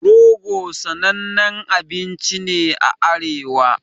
Rogo sanannen abinci ne a arewa